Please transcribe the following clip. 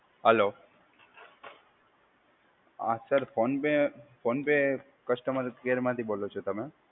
Hello, હા sir PhonePe PhonePe customer care માંથી બોલો છો તમે?